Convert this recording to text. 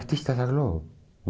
Artista da Globo.